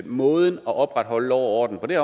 måden at opretholde lov og orden på det